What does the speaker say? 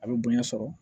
A bɛ bonya sɔrɔ